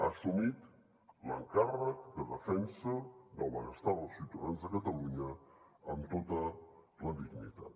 ha assumit l’encàrrec de defensa del benestar dels ciutadans de catalunya amb tota la dignitat